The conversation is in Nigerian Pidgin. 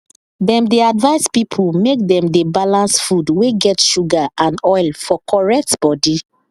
dem dey advice people make dem dey balance food wey get sugar and oil for correct body